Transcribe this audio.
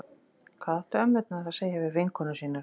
Hvað áttu ömmurnar að segja við vinkonur sínar?